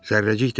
Zərrəcik dedi.